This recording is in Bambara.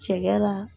Cɛkɛ la